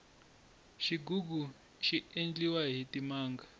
xigugu xi endliwa hi timanga